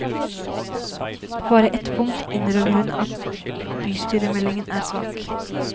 På bare ett punkt innrømmer hun at bystyremeldingen er svak.